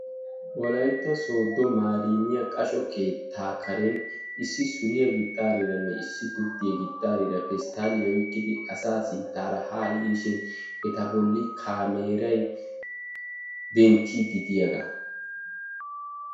Wolaytta sodo maremiyaa qashsho keetta karenni issi suriyaa gixariranne gurddiyaa gixarira pesttalliya oyqidi asa sinttara haa yiishshin etta bolli kaameray denttidi diyaaga.